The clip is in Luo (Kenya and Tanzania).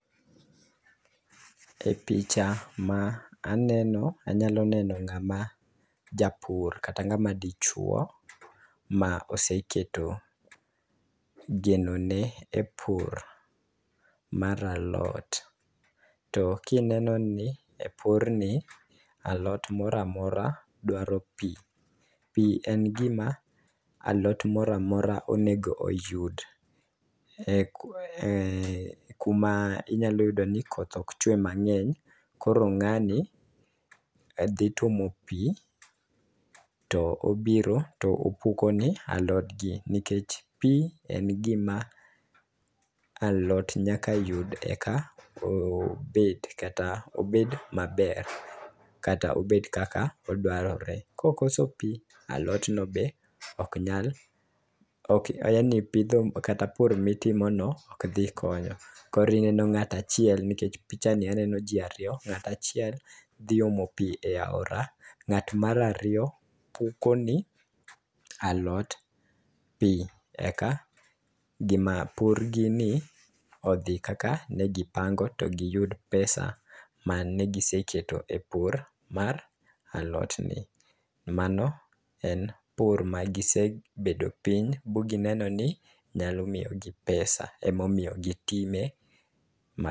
E picha ma aneno anyalo neno ng'ama japur kata ng'ama dichuo ma oseketo genone e pur mar alot. To kineno ni e pur ni alot moramora dwaro pii, pii en gima alot moramora onego oyud e e kuma inyalo yudo ni koth ok chwe mang'eny. Koro ng'ani dhi tuomo pii to obiro to opuko ne alodgi nikech pii en gima alot nyaka yud eka o obet kata obed maber kata obed kaka dwarore .Kokoso pii alot no be ok nyal ok yaani ipidho kata pur mitimo no ok dhi konyo koro ineno ng'ata achiel nikech picha ni aneno jii ariyo ng'ata chiel dhi omo piii e aora ng'at mar ariyo puko ne alot pii eka gima pur gi ni odhi kaka ne gipango to giyud pesa mane giseketo e pur mar alot ni . Mano en pur magisebedo piny ma gineno ni nyalo miyo gi pesa , emomiyo gitime ma